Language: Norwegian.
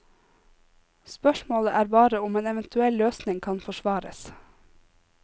Spørsmålet er bare om en eventuell løsning kan forsvares.